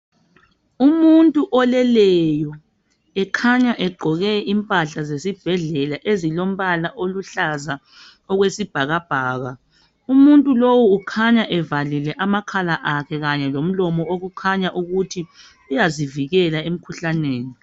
Umuntu oleleyo ekhanya egqoke impahla zesibhedlela ezilombala oluhlaza okwesibhakabhaka. Umuntu lowu ukhanya evalile amakhala akhe kanye lomlomo okukhanya ukuthi uyazivikela emkhuhlaneni.